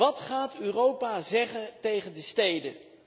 Wat gaat Europa zeggen tegen de steden?